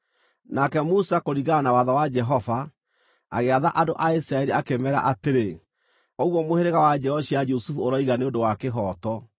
Nake Musa, kũringana na watho wa Jehova, agĩatha andũ a Isiraeli, akĩmeera atĩrĩ, “Ũguo mũhĩrĩga wa njiaro cia Jusufu ũroiga nĩ ũndũ wa kĩhooto.